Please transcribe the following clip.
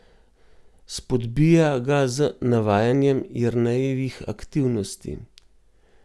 Spodbija ga z navajanjem Jernejevih aktivnosti.